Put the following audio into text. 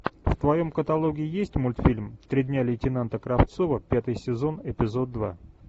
в твоем каталоге есть мультфильм три дня лейтенанта кравцова пятый сезон эпизод два